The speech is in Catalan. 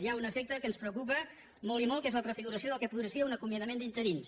hi ha un efecte que ens preocupa molt i molt que és la prefiguració del que podria ser un acomiadament d’interins